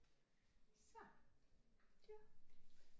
Så ja